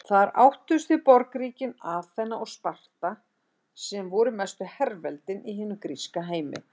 Þar áttust við borgríkin Aþena og Sparta sem voru mestu herveldin í hinum gríska heimi.